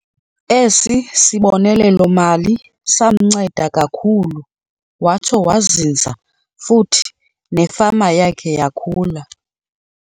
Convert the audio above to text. Esi sibonelelo-mali samnceda kakhulu watsho wazinza futhi nefama yakhe yakhula.